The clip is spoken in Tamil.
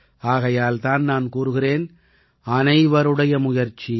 ஆகையால் தான் நான் கூறுகிறேன் அனைவருடைய முயற்சி